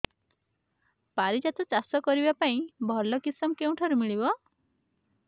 ପାରିଜାତ ଚାଷ କରିବା ପାଇଁ ଭଲ କିଶମ କେଉଁଠାରୁ ମିଳିବ